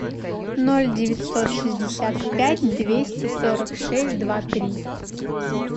ноль девятьсот шестьдесят пять двести сорок шесть два три